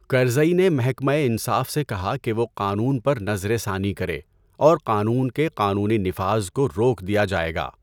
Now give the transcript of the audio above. کرزئی نے محکمہ انصاف سے کہا کہ وہ قانون پر نظر ثانی کرے، اور قانون کے قانونی نفاذ کو روک دیا جائے گا۔